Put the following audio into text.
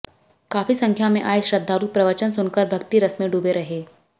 काफी संख्या में आए श्रद्धालु प्रवचन सुनकर भक्तिरस में डूबे रहे